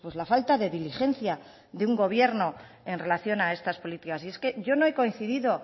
la falta de diligencia de un gobierno en relación a estas políticas es que yo no he coincidido